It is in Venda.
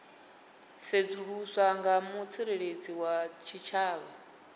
sedzuluswa nga mutsireledzi wa tshitshavha